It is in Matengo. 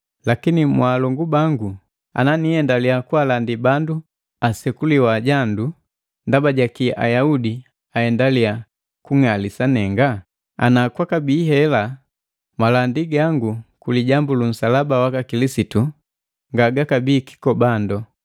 Lakini mwaalongu bangu, ana nihendale kaalandi bandu apalika kusekuliwa jandu, ndaba jakii Ayaudi ahendaliya kung'alisa nenga? Ngati kwakabii hela, malandi gangu ku lijambu lu nsalaba waka Kilisitu ngagakabii kikobando.